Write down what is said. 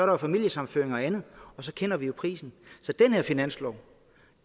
jo familiesammenføringer og andet og så kender vi jo prisen så den her finanslov